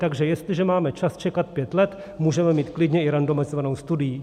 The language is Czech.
Takže jestliže máme čas čekat pět let, můžeme mít klidně i randomizovanou studii.